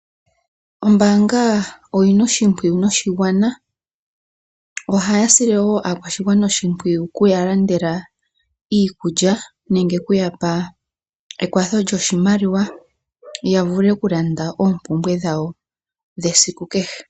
Ombaanga oyina oshimpwiyu noshigwana, ohaya sile wo aakwashigwana oshimpwiyu oku ya landela iikulya nenge oku ya pa ekwatho lyoshimaliwa, ya vule oku landa oompumbwe dhawo dhesiku kehe.